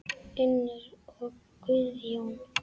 Unnur og Guðjón.